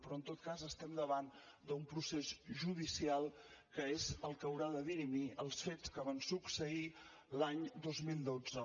però en tot cas estem davant d’un procés judicial que és el que haurà de dirimir els fets que van succeir l’any dos mil dotze